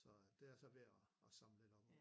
Så det jeg så ved at at samle lidt op om